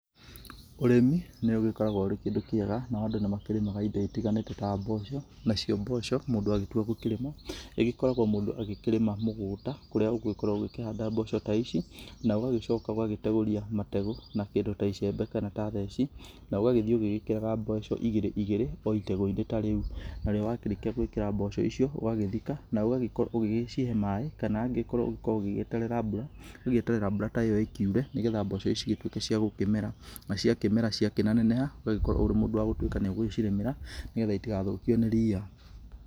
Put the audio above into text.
Ũrĩmi nĩ ũgĩkoragwo ũrĩ kĩndũ kĩega na andũ nĩ makĩrĩmaga indo itiganĩte ta mboco, nacio mboco mũndũ agĩtua gũkĩrĩma ĩgĩkoragwo mũndũ akĩrĩma mũgũnda kũrĩa ũgĩkoragwo ũkĩhanda mbembe ta ici na ũgagĩcoka ũgagĩtegũrĩa mategũ na kĩndũ ta icembe kana theci na ũgagĩthiĩ ũgĩkĩraga mbegũ igĩrĩ igĩrĩ o ĩtegũinĩ ta rĩu, narĩo wakĩrĩkia gũĩkĩra mboco icio ũgagĩthika na ũgagĩkorwo ũgĩcihe maĩ kana angĩkorwo ũgũkorwo ũgĩeterera mbũra ũgagĩeterere mbũra ta ĩyo ĩkĩure nĩgetha mboco ta ici cigĩtuĩke cia gũkĩmera na cia kĩmera cia kĩneneha neneha ũgagĩkorwo ũrĩ mũndũ wa gũgĩtũika nĩ ũgũcirĩmĩra nĩgetha itigathũkio nĩ ria.